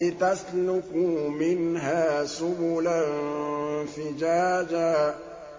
لِّتَسْلُكُوا مِنْهَا سُبُلًا فِجَاجًا